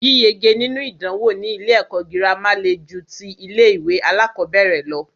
Yíyege nínú ìdánwò ní ilé ẹ̀kọ́ gírámà le ju tí ilé ìwé alákọ̀berẹ̀ lọ.